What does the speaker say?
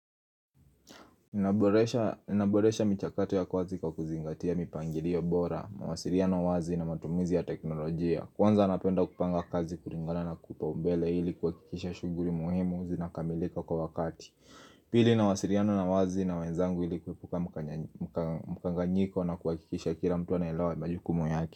Naboresha michakato ya kazi kwa kuzingatia mipangilio bora mawasiliano wazi na matumizi ya teknolojia Kwanza napenda kupanga kazi kulingana na kipaumbele ili kuhakikisha shughuli muhimu zinakamilika kwa wakati Pili nawasiliana na wazi na wenzangu ili kuepuka mkanganyiko na kuhakikisha kila mtu anaelewa majukumu yake.